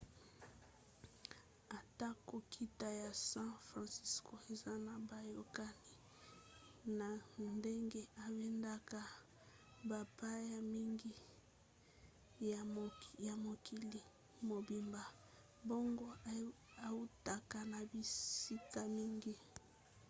atako nkita ya san franciso eza na boyokani na ndenge ebendaka bapaya mingi ya mokili mobimba mbongo eutaka na bisika mingi